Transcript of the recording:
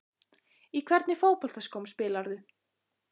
Í hvernig fótboltaskóm spilarðu?